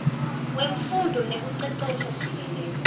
wemfundvo nekucecesha jikelele